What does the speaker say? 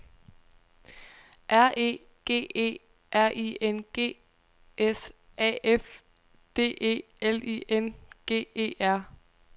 R E G E R I N G S A F D E L I N G E R